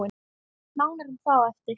Nánar um það á eftir.